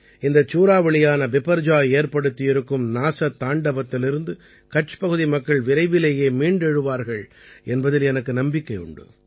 இந்தச் சூறாவளியான பிபர்ஜாய் ஏற்படுத்தியிருக்கும் நாசத்தாண்டவத்திலிருந்து கட்ச் பகுதி மக்கள் விரைவிலேயே மீண்டெழுவார்கள் என்பதில் எனக்கு நம்பிக்கையுண்டு